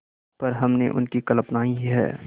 पर हमने उनकी कल्पना ही है